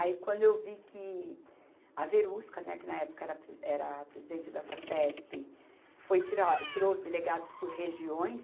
Aí quando eu vi que a Verusca, né, que na época era a pre, era a presidente da Facesp, foi tirar, tirou os delegados por regiões,